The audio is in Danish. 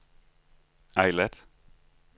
Eilat